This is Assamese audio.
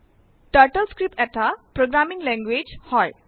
টাৰ্টলস্ক্ৰিপ্ট এটা প্ৰোগ্ৰামিঙ লেঙগুয়েজ হয়